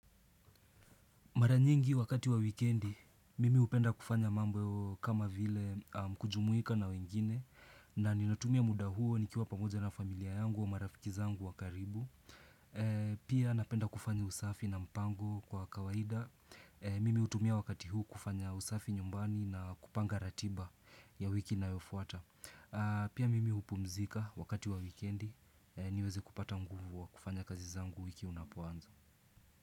Mara nyingi wakati wa wikendi, mimi hupenda kufanya mambo kama vile kujumuika na wengine na ninatumia muda huo nikiwa pamoja na familia yangu au marafiki zangu wa karibu. Pia napenda kufanya usafi na mpango kwa kawaida. Mimi hutumia wakati huu kufanya usafi nyumbani na kupanga ratiba ya wiki inayofuata. Pia mimi hupumzika wakati wa wikendi, niweze kupata nguvu wa kufanya kazi zangu wiki unapoanza.